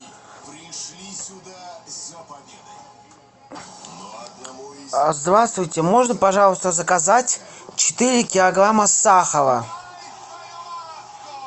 здравствуйте можно пожалуйста заказать четыре килограмма сахара